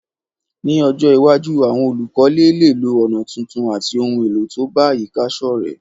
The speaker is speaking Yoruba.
Ní ojó iwájú, àwon olùkọ́lé léè lo ònà tuntun àti oun èlò to bá àyíká sọ́rẹ́